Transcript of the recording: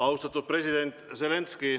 Austatud president Zelenskõi!